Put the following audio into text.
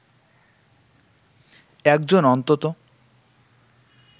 একজন অন্তত